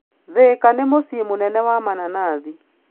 Thika nĩ mũciĩ wa mananathi.